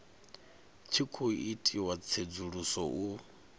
tshi khou itiwa tsedzuluso u